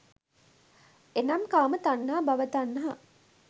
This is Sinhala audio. එනම් කාම තණ්හා, භව තණ්හා,